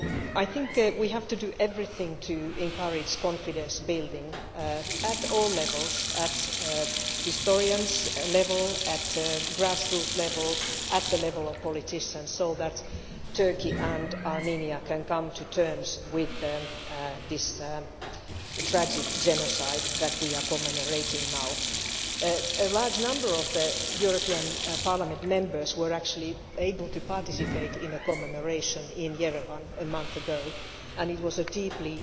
I think we have to do everything to encourage confidence building at all levels at the historian's level, at the grass roots level and at the level of politicians so that Turkey and Armenia can come to terms with this tragic genocide that we are commemorating now. A large number of Members of the European Parliament were actually able to participate in a commemoration in Yerevan a month ago, and it was a deeply